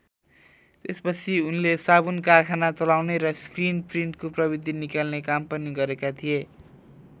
त्यसपछि उनले साबुन कारखाना चलाउने र स्क्रिन प्रिन्टको प्रविधि निकाल्ने काम पनि गरेका थिए।